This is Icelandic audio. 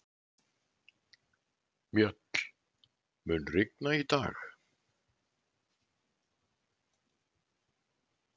Mjöll, mun rigna í dag?